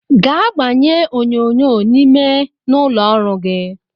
Gaa gbanye onyonyo n’ime n’ụlọọrụ!